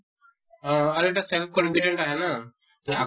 আহ আৰু এটা self confident আহে ন আকৌ